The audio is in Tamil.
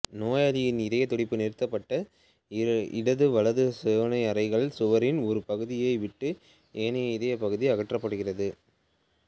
நோயாளியின் இதயத் துடிப்பு நிறுத்தப்பட்டு இடது வலது சோனை அறைகளிலன் சுவரின் ஒரு பகுதியை விட்டு ஏனைய இதயப்பகுதி அகற்றப்படுகிறது